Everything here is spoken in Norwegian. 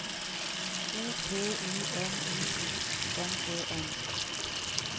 O P I N I O N E N